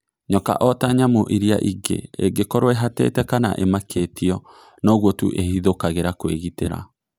Nyoka ota nyamu iria ingĩ ĩngĩkorwo ĩhatĩte kana ĩmakĩtio, noguo tu ĩhithũkagĩra kwĩgitĩra.